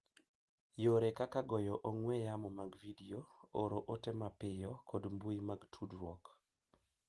Yore kaka goyo ong'we yamo mag vidio, oro ote mapiyo, kod mbui mag tudruok